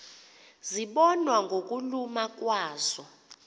zibonwa ngokuluma kwazo